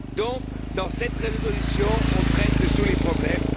Donc, dans cette résolution, on traite tous les problèmes.